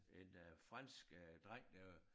En øh fransk øh dreng øh